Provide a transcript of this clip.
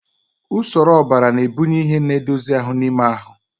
Usoro ọbara na-ebunye ihe na-edozi ahụ n'ime ahụ.